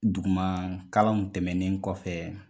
Duguma kalanw tɛmɛnen kɔfɛ